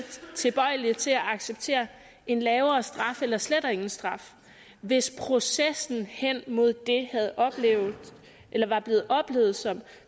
tilbøjelige til at acceptere en lavere straf eller slet ingen straf hvis processen hen mod det var blevet oplevet som